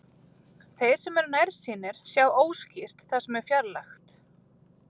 Þeir sem eru nærsýnir sjá óskýrt það sem er fjarlægt.